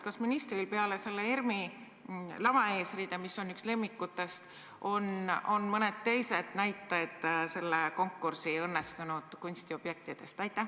Kas ministril peale selle ERM-i lavaeesriide, mis on üks lemmikutest, on ka teisi näiteid selle konkursi õnnestunud kunstiobjektidest?